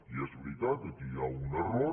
i és veritat aquí hi ha un error